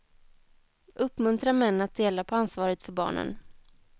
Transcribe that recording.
Uppmuntra män att dela på ansvaret för barnen.